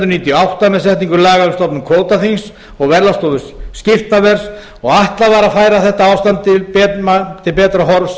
og átta með setningu laga um stofnun kvótaþings og verðlagsstofu skiptaverðs og ætlað var að færa ástand þessara mála til betra horfs